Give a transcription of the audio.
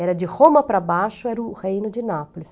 Era de Roma para baixo, era o Reino de Nápoles.